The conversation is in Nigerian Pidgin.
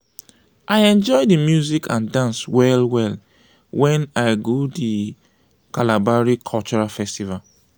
i enjoy di music and dance well-well wen i go di kalabari cultural festival.